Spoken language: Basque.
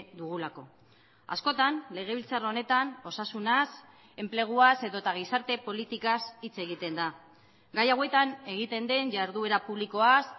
dugulako askotan legebiltzar honetan osasunaz enpleguaz edota gizarte politikaz hitz egiten da gai hauetan egiten den jarduera publikoaz